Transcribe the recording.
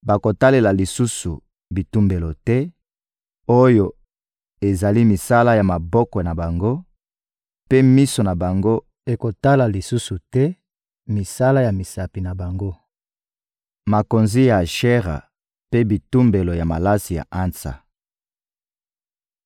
bakotalela lisusu bitumbelo te oyo ezali misala ya maboko na bango, mpe miso na bango ekotala lisusu te misala ya misapi na bango: makonzi ya Ashera mpe bitumbelo ya malasi ya ansa.